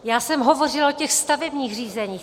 Já jsem hovořila o těch stavebních řízeních.